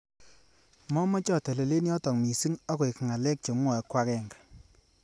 Momeche atelele yotok missing akoek ngalek chomwoei ko akenge